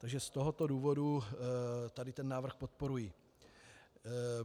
Takže z tohoto důvodu tady ten návrh podporuji.